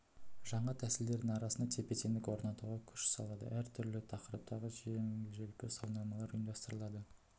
жаңа тәсілдердің арасында тепе-теңдік орнатуға күш салады әр түрлі тақырыптағы жеңіл-желпі сауалнамалар ұйымдастырады